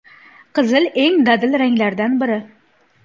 Qizil eng dadil ranglardan biri.